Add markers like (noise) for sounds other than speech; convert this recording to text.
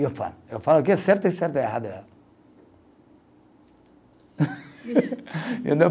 E eu falo, eu falo que é certo é certo, é errado é errado. (laughs)